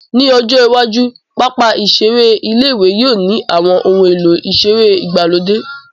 Ní ọjọ́ iwájú, pápá ìseré ilé-ìwé yóò ní àwọn ohun èlò ìseré ìgbàlódé